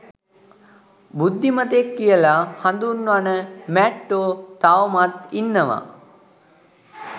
බුද්ධිමතෙක් කියල හඳුන්වන මැට්ටෝ තවමත් ඉන්නවා.